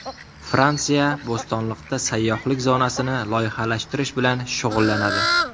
Fransiya Bo‘stonliqda sayyohlik zonasini loyihalashtirish bilan shug‘ullanadi.